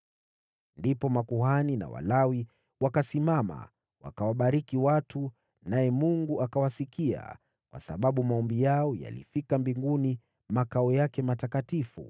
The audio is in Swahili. Ndipo makuhani na Walawi wakasimama wakawabariki watu, naye Mungu akawasikia, kwa sababu maombi yao yalifika mbinguni, makao yake matakatifu.